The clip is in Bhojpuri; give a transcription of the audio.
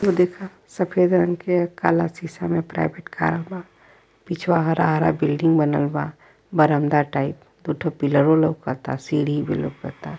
ई देखा सफेद रंग के काला शीशा में प्राइवेट कर बा। पिछवा हरा-हरा बिल्डिंग बनल बा बरामदा टाइप दू ठो पिलरो लउकता सीढ़ी भी लउकता।